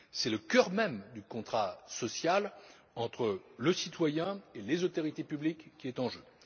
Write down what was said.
C'est le cœur même du contrat social entre le citoyen et les autorités publiques qui est en jeu.